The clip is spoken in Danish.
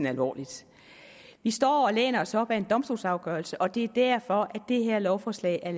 alvorligt vi står og læner os op ad en domstolsafgørelse og det er derfor det her lovforslag er